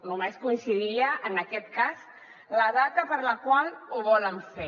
només coincidiria en aquest cas la data en la qual ho volen fer